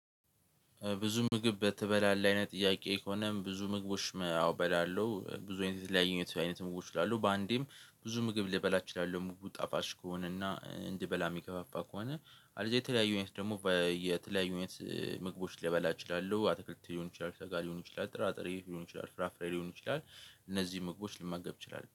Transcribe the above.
ብዙ ምግብ በተበላለ አይነት ጥያቄ ከሆነም ብዙ ምግቦች አው እበላለው ብዙ አይነት የተለያየ አይነት ምግቦች በአንዴም ብዙ ምግብ ልበላ እችላለሁ ምግቡ ጣፋጭ ከሆነና እንድበላ የሚገፋፋ ከሆነ አለዚያ የተለያዩ አይነት ደግሞ የተለያዩ የት ምግቦች ልበላ ይችላሉ አትክልት ሊሆን ይችላል ሰጋ ሊሆን ይችላል ጥራጥሬ ሊሆን ይችላል ፍራፍሬ ሊሆን ይችላል እነዚህን ምግቦች ልመገብ እችላለሁ